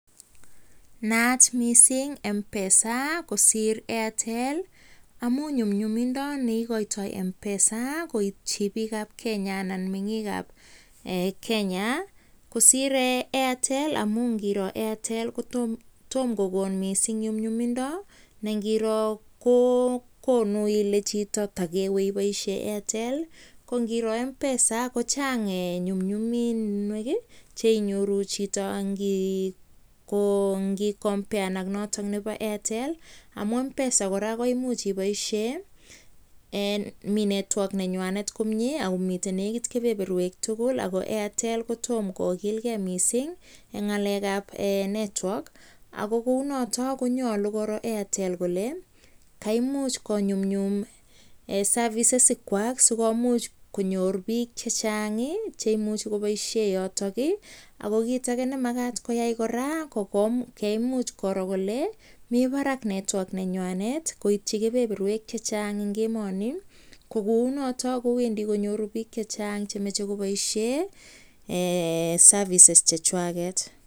Naat mising mpesa kosir Airtel amun nyumnyumindo neikoitoi mpesa koitchi pik ab Kenya anan meyik ab Kenya kosir Airtel amun tom kokon nyumnyumindo ne ngiro chito ile ndewe iboishe Airtel. Ngiro mpesa kochang nyumnyuminwek cheinyoru chito ago ngi compared AK notok bo Airtel . Amun mpesa kokararan network akomitei komoswek chechang. nenyi Ako Airtel kotoma kokilgei mising eng nyalekab network ago kou notok konyalu koro Airtel kole kaimuch konyumyum services ikwak sikomuch konyoru bik chechang cheimuchei koboishe yotok. Ako kit age nemakat kora ko kaimuch koro kole kaimuch kowa park network nengwai koitchi kepeperwk che Chang eng emoni. Kounotok kowendi konyoru bik chechang cheimuchei koboishe services chekwaket